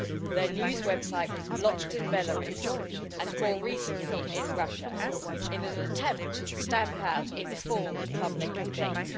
Their news website was blocked in Belarus, and more recently in Russia, in an attempt to stamp out informed public debate.